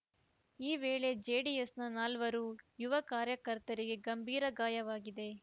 ಈ ವೇಳೆ ಜೆಡಿಎಸ್‌ನ ನಾಲ್ವರು ಯುವ ಕಾರ್ಯಕರ್ತರಿಗೆ ಗಂಭೀರ ಗಾಯವಾಗಿದೆ